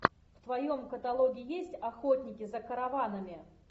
в твоем каталоге есть охотники за караванами